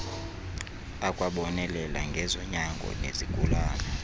akwabonelela ngezonyango nezigulane